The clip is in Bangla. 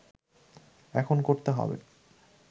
এখন করতে হবে